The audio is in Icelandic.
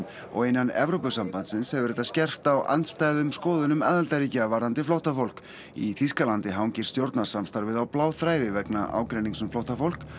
innan Evrópusambandsins hefur þetta skerpt á andstæðum skoðunum aðildarríkja varðandi flóttafólk í Þýskalandi hangir stjórnarsamstarfið á bláþræði vegna ágreinings um flóttafólk